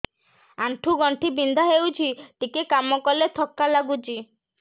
ଆଣ୍ଠୁ ଗଣ୍ଠି ବିନ୍ଧା ହେଉଛି ଟିକେ କାମ କଲେ ଥକ୍କା ଲାଗୁଚି